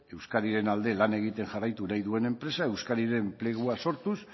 euskadiren alde lan egiten jarraitu nahi duen enpresa euskadin enplegua sortuz